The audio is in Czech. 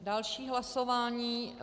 Další hlasování.